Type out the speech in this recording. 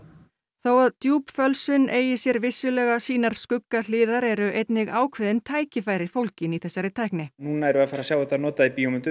þó að djúpfölsun eigi sér vissulega sínar skuggahliðar eru einnig ákveðin tækifæri fólgin í þessari tækni núna erum við að sjá þetta notað